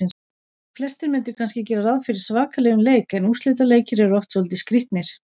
Flestir myndu kannski gera ráð fyrir svakalegum leik en úrslitaleikir eru oft svolítið skrýtnir.